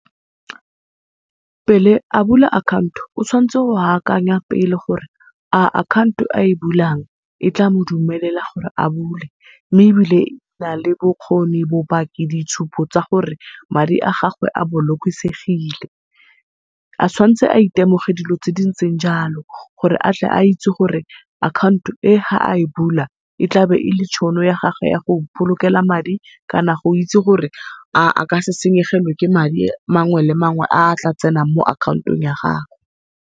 Pele a bula account-o o tshwantse go akanya pele gore a account-o a e bulang e tla mo dumelela gore a bule, mme ebile e na le bokgoni bobaki ditshupo tsa gore madi a gago a bolokesegile. A tshwantse a e temoge dilo tse dintseng jalo gore atle a itse gore account-o e ga a e bula, e tlabe e le tšhono ya gage ya go ipolokela madi kana go itse gore a a ka se senyegelwe ke madi mangwe le mangwe a tla tsenang mo account-ong ya gagwe.